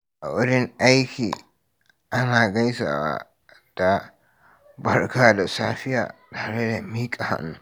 A wurin aiki, ana gaisawa da "Barka da safiya" tare da miƙa hannu.